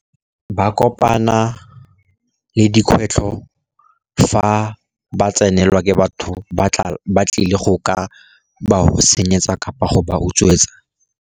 Ba kopana le dikgwetlho fa ba tsenelelwa ke batho ba tla ba tlile go ka ba senyetsa kapa go ba utswetsa.